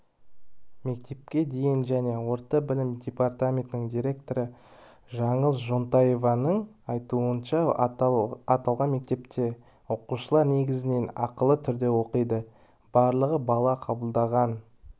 мектепке дейінгі және орта білім департаментінің директоры жаңыл жонтаеваның айтуынша аталған мектепте оқушылар негізінен ақылы түрде оқиды барлығы бала қабылданған